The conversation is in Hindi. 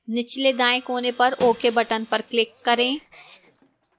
निचले दाएं कोने पर ok button पर click करें